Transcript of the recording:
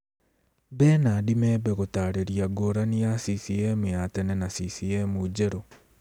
Bernard Membe gũtaarĩria ngũrani ya CCM ya tene na CCM njerũ